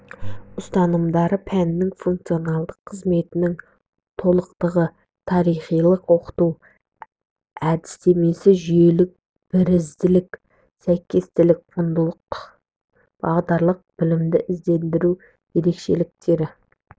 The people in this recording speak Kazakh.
ұстанымдары пәннің функцоналдық қызметінің толықтығы тарихилық оқыту әдістемесі жүйелік бірізділік сәйкестілік құндылықтық-бағдарлық білімді ізгілендіру др ерекшеліктерді